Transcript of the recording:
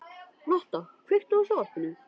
Lotta, kveiktu á sjónvarpinu.